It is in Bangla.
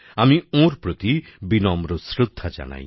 আমি ওঁর প্রতি বিনম্র শ্রদ্ধা জানাই